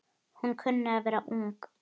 Hún kunni að vera ung.